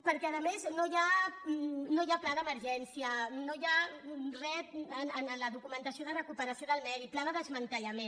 perquè a més no hi ha pla d’emergència no hi ha re en la documentació de recuperació del medi pla de desmantellament